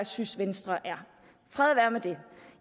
synes venstre er fred være med det